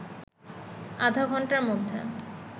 আধা ঘণ্টার মধ্যে